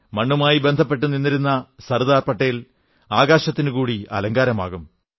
മണ്ണുമായി ബന്ധപ്പെട്ട് നിന്നിരുന്ന സർദാർ പട്ടേൽ ആകാശത്തിനുകൂടി അലങ്കാരമാകും